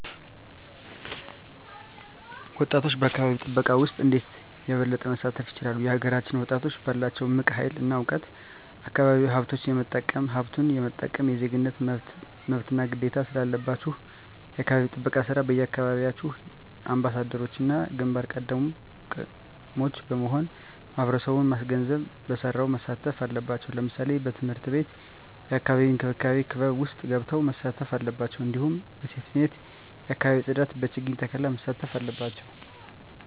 ወጣቶች በአካባቢ ጥበቃ ውስጥ እንዴት የበለጠ መሳተፍ ይችላሉ? የሀገራችንን ወጣቶች ባላቸው እምቅ ሀይል እና እውቀት አካባቢያዊ ሀብቶች የመጠቀምም ሀብቱን የመጠበቅም የዜግነት መብትና ግዴታም ስላለባችሁ የአካባቢ ጥበቃ ስራ የየአካባቢያችሁ አምባሳደሮችና ግንባር ቀደሞች በመሆን ማህበረሰቡን ማስገንዘብ በስራው መሳተፍ አለባቸው ለምሳሌ በትምህርት ቤት የአካባቢ እንክብካቤ ክበብ ውስጥ ገብተው መሳተፍ አለባቸው እንዲሁም በሴፍትኔት የአካባቢ ፅዳት በችግኝ ተከላ መሳተፍ አለባቸው